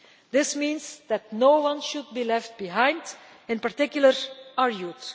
This means that no one should be left behind, in particular our